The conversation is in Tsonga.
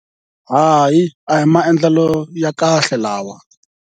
Hayi, a hi maendlelo ya kahle lawa.